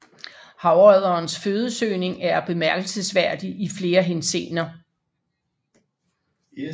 Havodderens fødesøgning er bemærkelsesværdig i flere henseender